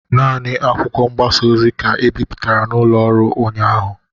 Nani akwụkwọ mgbasa ozi ka e bipụtara n'ụlọ ọrụ ụnyaahụ